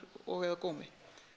og eða gómi